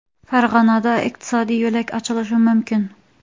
Farg‘onada iqtisodiy yo‘lak ochilishi mumkin.